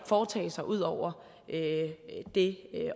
foretage sig ud over det